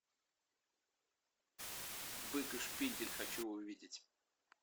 бык и шпиндель хочу увидеть